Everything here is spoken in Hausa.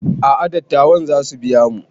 A'a dattawan zasu biya mu